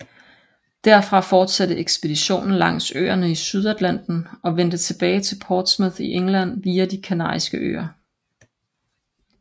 Derfra fortsatte ekspeditionen langs øerne i Sydatlanten og vendte tilbage til Portsmouth i England via de Kanariske øer